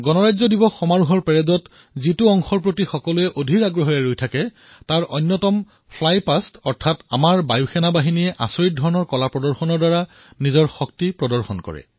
গণতন্ত্ৰ দিৱসৰ সময়চোৱাত জনতাই পেৰেডৰ যিটো অংশৰ বাবে অধৈৰ্য হৈ প্ৰতীক্ষা কৰি থাকে তাৰ ভিতৰত এটা হল ফ্লাই পাষ্ট যত আমাৰ বায়ুসৈন্যই অসাধাৰণ কাৰনামাৰ সৈতে নিজৰ শক্তি প্ৰদৰ্শন কৰে